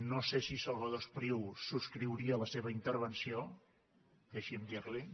no sé si salvador espriu subscriuria la seva intervenció deixi’m dirli ho